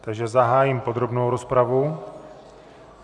Takže zahájím podrobnou rozpravu.